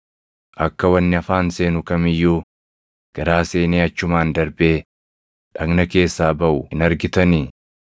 Akka wanni afaan seenu kam iyyuu garaa seenee achumaan darbee dhagna keessaa baʼu hin argitanii?